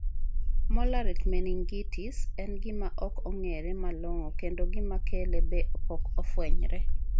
Mollaret meningitis en gima ok ong'ere malong'o kendo gima kele be pok ofwenyre.